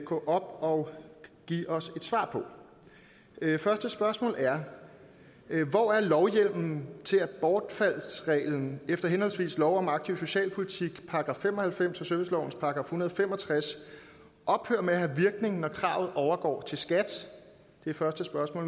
gå op og give os et svar på første spørgsmål er hvor er lovhjemmelen til at bortfaldsreglen efter henholdsvis lov om aktiv socialpolitik § fem og halvfems og servicelovens § en hundrede og fem og tres ophører med at have virkning når kravet overgår til skat det er første spørgsmål